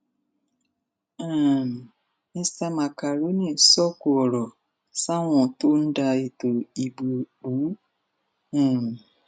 um mista macaroni sọkò ọrọ sáwọn tó ń da ètò ìbò irú um